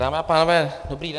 Dámy a pánové, dobrý den.